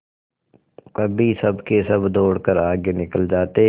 कभी सबके सब दौड़कर आगे निकल जाते